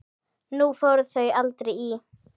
Nú fóru þau aldrei í